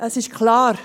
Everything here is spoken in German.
Es ist klar: